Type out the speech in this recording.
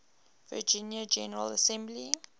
virginia general assembly